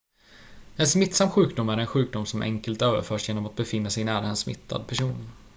en smittsam sjukdom är en sjukdom som enkelt överförs genom att befinna sig nära en smittad person